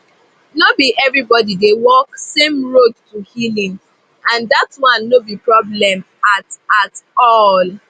no be everybody dey walk same road to healing and that one no be problem at at all